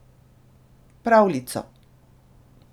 Pravljico.